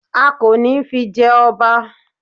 A kò ní fi jẹ ọba